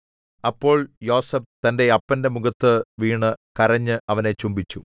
അപ്പോൾ യോസേഫ് തന്റെ അപ്പന്റെ മുഖത്തു വീണു കരഞ്ഞ് അവനെ ചുംബിച്ചു